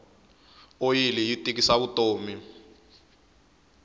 oyili yi tikisa vutomi